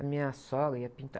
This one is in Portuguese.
A minha sogra ia pintar.